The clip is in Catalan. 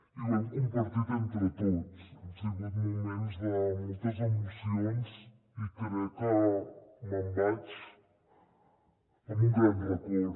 i ho hem compartit entre tots han sigut moments de moltes emocions i crec que me’n vaig amb un gran record